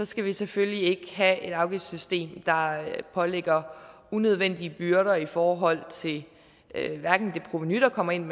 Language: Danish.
skal vi selvfølgelig ikke have et afgiftssystem der pålægger unødvendige byrder i forhold til det provenu der kommer ind